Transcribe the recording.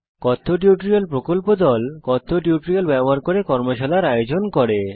কথ্য টিউটোরিয়াল প্রকল্প দল কথ্য টিউটোরিয়াল ব্যবহার করে কর্মশালার আয়োজন করে